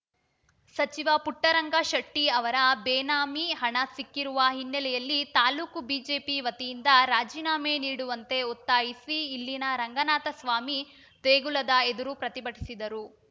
ಸಚಿವ ಪುಟ್ಟರಂಗ ಶೆಟ್ಟಿಆವರ ಬೇನಾಮಿ ಹಣ ಸಿಕ್ಕಿರುವ ಹಿನ್ನೆಲೆಯಲ್ಲಿ ತಾಲೂಕು ಬಿಜೆಪಿ ವತಿಯಿಂದ ರಾಜಿನಾಮೆ ನೀಡುವಂತೆ ಒತ್ತಾಯಿಸಿ ಇಲ್ಲಿನ ರಂಗನಾಥಸ್ವಾಮಿ ದೇಗುಲದ ಎದುರು ಪ್ರತಿಭಟಿಸಿದರು